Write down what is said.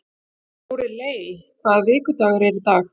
Lóreley, hvaða vikudagur er í dag?